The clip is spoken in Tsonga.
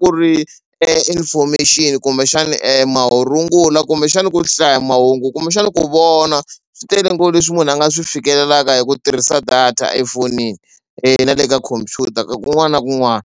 ku ri information kumbexani marungula kumbexani ku hlaya mahungu kumbexani ku vona swi tele ngopfu leswi munhu a nga swi fikelelaka hi ku tirhisa data efonini na le ka khompyuta kun'wana na kun'wana.